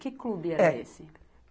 Que clube era esse?